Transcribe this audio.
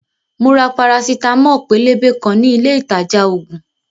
Mo ra parasitamo pélébé kan ní ilé ìtajà ògùn